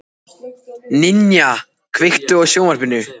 Ninja, kveiktu á sjónvarpinu.